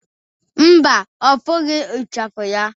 Mba, ọ fụghọ ichafu ya